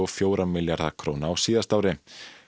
fjóra milljarða króna á síðasta ári